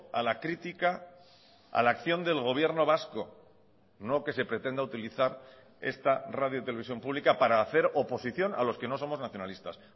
a la crítica a la acción del gobierno vasco no que se pretenda utilizar esta radio televisión pública para hacer oposición a los que no somos nacionalistas